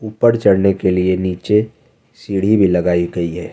ऊपर चढ़ने के लिए नीचे सीढ़ी भी लगाई गई है।